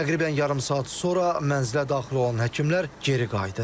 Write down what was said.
Təqribən yarım saat sonra mənzilə daxil olan həkimlər geri qayıdır.